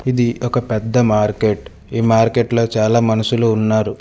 ఇది ఒక పెద్ద మార్కెట్ ఈ మార్కెట్లో చాలా మనుషులు ఉన్నారు.